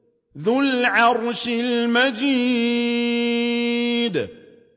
ذُو الْعَرْشِ الْمَجِيدُ